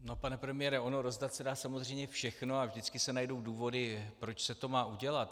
No, pane premiére, ono rozdat se dá samozřejmě všechno a vždycky se najdou důvody, proč se to má udělat.